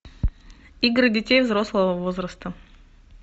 игры детей взрослого возраста